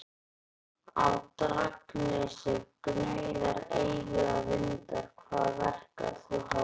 Á Drangsnesi gnauða eilífir vindar Hvar verkar þú hákarlinn?